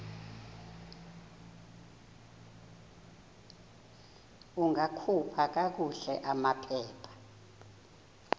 ungakhupha kakuhle amaphepha